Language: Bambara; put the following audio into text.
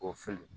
O fɛn